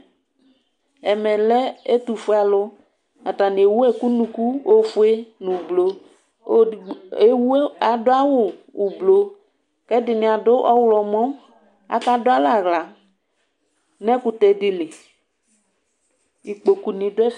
Ɛmɛlɛ ɛtʋfue alʋ atni ewʋ ɛkʋ nʋ ʋnʋkʋ ofue nʋ ʋblɔ adʋ awʋ ʋblɔ kʋ ɛdini adʋ ɔwlɔmɔ akadʋ alɛ aɣla nʋ ɛkʋtɛdi li ikpokʋ nʋdʋ ɛfɛ